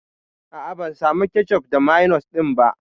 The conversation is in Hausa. A'a, ban samu kecof da mayonis ɗin ba.